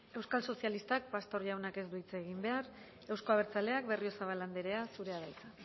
euskal sozialistak pastor jaunak ez du hitz egin behar euzko abertzaleak berriozabal andrea zurea da hitza